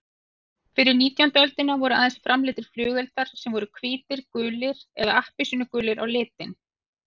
Fyrir nítjándu öldina voru aðeins framleiddir flugeldar sem voru hvítir, gulir eða appelsínugulir á litinn.